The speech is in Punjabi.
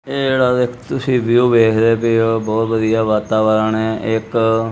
ਇਹ ਜਿਹੜਾ ਇੱਕ ਤੁਸੀ ਵਿਊ ਵੇਖਦੇ ਪਏ ਹੋ ਬੋਹੁਤ ਵਧੀਆ ਵਾਤਾਵਰਣ ਹੈ ਇੱਕ--